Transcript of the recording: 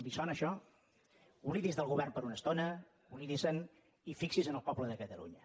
li sona això oblidi’s del govern per una estona oblidi se’n i fixi’s en el poble de catalunya